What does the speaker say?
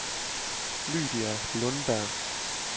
Lydia Lundberg